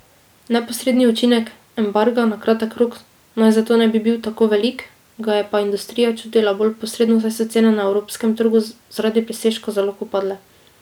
Neposredni učinek embarga na kratek rok naj zato ne bi bil tako velik, ga je pa industrija čutila bolj posredno, saj so cene na evropskem trgu zaradi presežka zalog upadle.